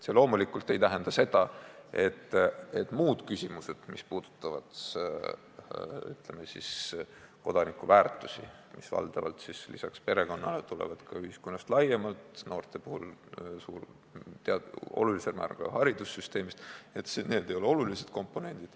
See loomulikult ei tähenda seda, et muud küsimused, mis puudutavad kodanikuväärtusi, mis lisaks perekonnale tulevad valdavalt ka ühiskonnast laiemalt, noorte puhul olulisel määral haridussüsteemist, ei ole olulised komponendid.